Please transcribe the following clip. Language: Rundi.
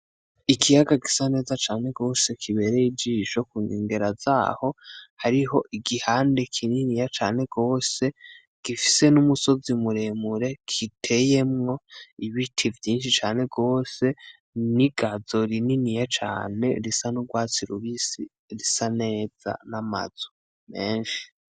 Ikiyaga gisa neza cane gose kibereye ijisho kunkengera zaho hariho igihande kininiya cane gose gifise n'umusozi muremure kiteyemwo ibiti vyinshi cane gose n' igazo rininiya cane risa n' ugwatsi rubisi risa neza n' amazu menshi.